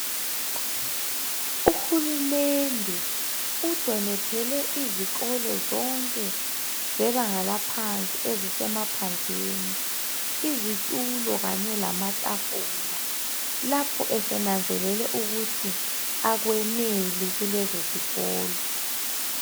Uhulumende udonethele izikolo zonke zebanga laphansi ezisemaphandleni izitulo kanye lamatafula lapho esenanzelele ukuthi akweneli kulezozikolo.